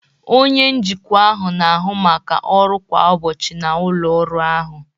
Onye njikwa ahụ na-ahụ maka ọrụ kwa ụbọchị na ụlọ ọrụ ahụ.